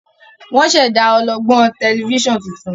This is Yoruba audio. wón ṣẹda ọlọgbọn Tẹlifíṣàn títún.